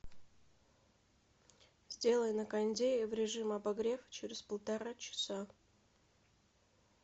сделай на кондее в режим обогрев через полтора часа